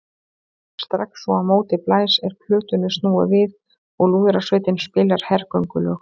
Strax og á móti blæs er plötunni snúið við og lúðrasveitin spilar hergöngulög.